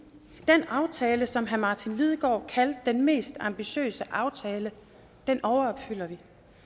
den aftale som herre martin lidegaard kaldte den mest ambitiøse aftale overopfylder vi